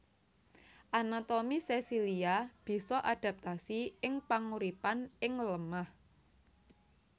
Anatomi sesilia bisa adaptasi ing panguripan ing lemah